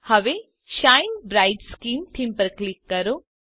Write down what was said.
હવે shine bright skin theme પર click કરો